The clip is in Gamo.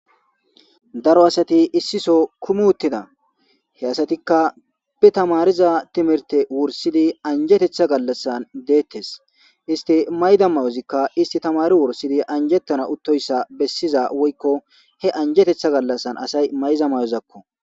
Daro asati issi soo kumi utida he asati ka be tamariza timirite wursid anjetetha galasan detes isti mayida mayozika tamarida timirta wursidi anjetana utoysa besiza woykon he anjetetha galasan mayiza mayozakko.